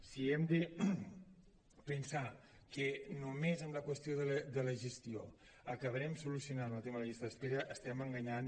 si hem de pensar que només amb la qüestió de la gestió acabarem solucionant el tema de les llistes d’espera estem enganyant